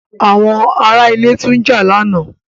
Àwọn ará ilé tún jà lánàá.